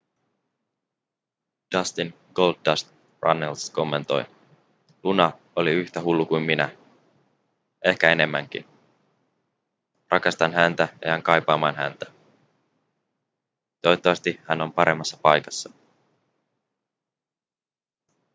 dustin goldust runnels kommentoi luna oli yhtä hullu kuin minä ehkä enemmänkin rakastan häntä ja jään kaipaamaan häntä toivottavasti hän on paremmassa paikassa